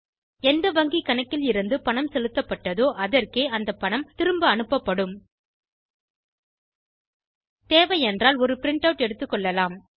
எந்த வங்கி கணக்கிலிருந்து பணம் செலுத்தப்பட்டதோ அதற்கே அந்த பணம் திரும்ப அனுப்பப்படும் தேவையென்றால் ஒரு பிரின்ட் ஆட் எடுத்துக்கொள்ளலாம்